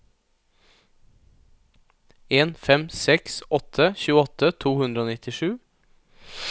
en fem seks åtte tjueåtte to hundre og nittisju